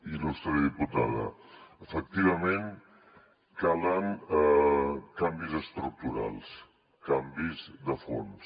il·lustre diputada efectivament calen canvis estructurals canvis de fons